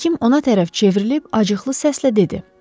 Həkim ona tərəf çevrilib acıqlı səslə dedi: